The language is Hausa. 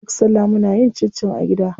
Duk salla muna yin cincin a gida.